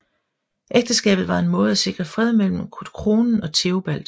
Ægteskabet var en måde at sikre fred mellem kronen og Theobald